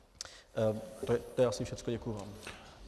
To je asi všechno, děkuji vám.